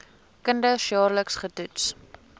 kinders jaarliks getoets